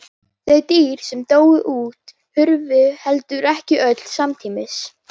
Þau dýr sem dóu út hurfu heldur ekki öll samtímis.